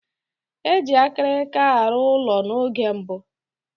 Eji akirika aru ụlọ na oge mbụ.